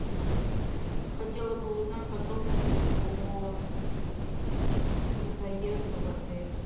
хотела бы узнать подробности по заезду в отель